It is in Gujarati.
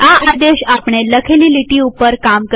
હવે આ આદેશ આપણે લખેલી લીટીઓ ઉપર કામ કરશે